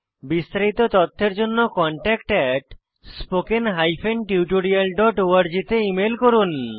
বিস্তারিত তথ্যের জন্য contactspoken tutorialorg তে ইমেল করুন